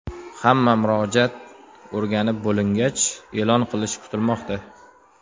Hamma murojaat o‘rganib bo‘lingach, e’lon qilinishi kutilmoqda.